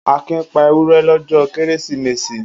Akin pa ewúrẹ́ lọ́jọ́ Kérésìmesì?